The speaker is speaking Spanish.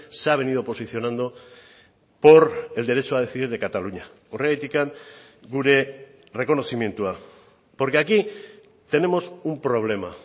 se ha venido posicionando por el derecho a decidir de cataluña horregatik gure errekonozimendua porque aquí tenemos un problema